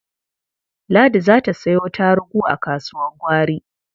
Ladi za ta sayo tarugu a kasuwar gwari.